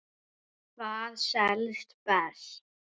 Hvað selst best?